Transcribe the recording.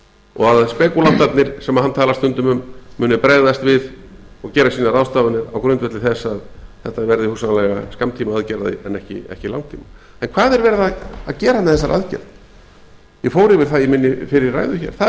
og að spekúlantarnir sem hann talar stundum um muni bregðast við og gera sínar ráðstafanir á grundvelli þess að þetta verði hugsanlega skammtíma aðgerð en ekki langtíma en hvað er verið að gera með þessari aðgerð ég fór yfir það í minni fyrri ræðu hér það er